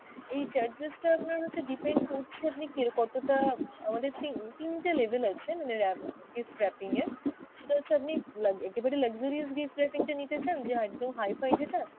এই charges টা আপনার হচ্ছে depend করছে আপনি কেরো~ কতটা, আমাদের তিন~ তিনটে level আছে মানে wrap, gift wrapping এর, সেটা হচ্ছে আপনি লাগ~ একেবারে luxurious gift wrapping টা নিতে চান যে একদম hi-fi যেটা?